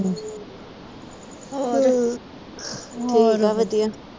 ਹੋਰ ਵਧੀਆ।